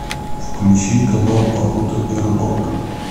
включи канал охота и рыбалка